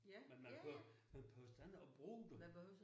Men man behøver man behøves da ikke at bruge det